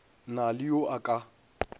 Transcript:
na le yo a ka